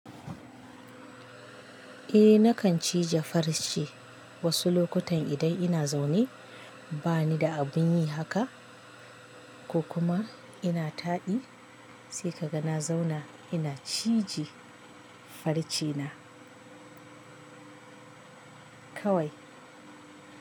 Eh nakan cije farce wasu lokutan idan ina zaune bani da abin yi haka ko kuma ina taɗi sai ka ga na zauna ina cije farce na kawai.